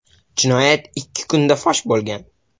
Jinoyat ikki kunda fosh bo‘lgan.